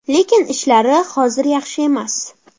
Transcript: Lekin ishlari hozir yaxshi emas.